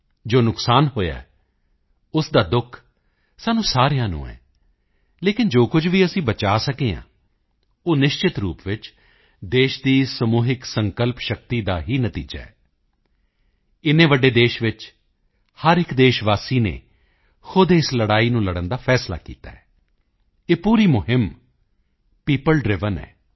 ਜੋ ਨੁਕਸਾਨ ਹੋਇਆ ਹੈ ਉਸ ਦਾ ਦੁਖ ਸਾਨੂੰ ਸਾਰਿਆਂ ਨੂੰ ਹੈ ਲੇਕਿਨ ਜੋ ਕੁਝ ਵੀ ਅਸੀਂ ਬਚਾਅ ਸਕੇ ਹਾਂ ਉਹ ਨਿਸ਼ਚਿਤ ਤੌਰ ਤੇ ਦੇਸ਼ ਦੀ ਸਮੂਹਿਕ ਸੰਕਲਪਸ਼ਕਤੀ ਦਾ ਹੀ ਨਤੀਜਾ ਹੈ ਇੰਨ੍ਹੇ ਵੱਡੇ ਦੇਸ਼ ਵਿੱਚ ਹਰ ਇੱਕ ਦੇਸ਼ਵਾਸੀ ਨੇ ਖ਼ੁਦ ਇਸ ਲੜਾਈ ਨੂੰ ਲੜਨ ਦਾ ਫੈਸਲਾ ਕੀਤਾ ਹੈ ਇਹ ਪੂਰੀ ਮੁਹਿੰਮ ਪੀਓਪਲ ਡ੍ਰਾਈਵਨ ਹੈ